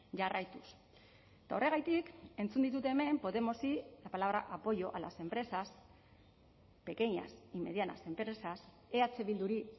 jarraituz eta horregatik entzun ditut hemen podemosi la palabra apoyo a las empresas pequeñas y medianas empresas eh bilduri